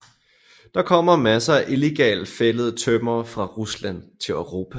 Der kommer masser af illegalt fældet tømmer fra Rusland til Europa